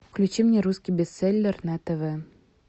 включи мне русский бестселлер на тв